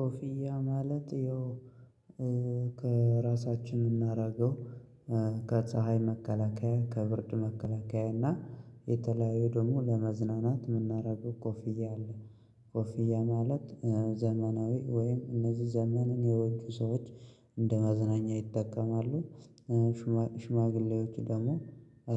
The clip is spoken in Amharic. ኮፍያ ማለት ያው ከራሳችን የምናደርገው ከፀሀይ መከላከያ ከብርድ መከላከያ እና የተለያዩ ደግሞ ለመዝናናት የምናደርገው ኮፊያ አለ ኮፍያ ማለት ዘመናዊ ወይም እነዚህ ዘመንን የዋጁ ሰዎች እንደማዝናኛ ማዝናኛ ይጠቀማሉ። ሽማግሌዎች ደግሞ